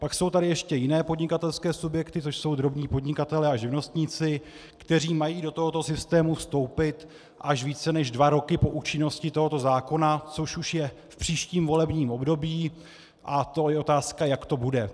Pak jsou tady ještě jiné podnikatelské subjekty, což jsou drobní podnikatelé a živnostníci, kteří mají do tohoto systému vstoupit až více než dva roky po účinnosti tohoto zákona, což už je v příštím volebním období, a to je otázka, jak to bude.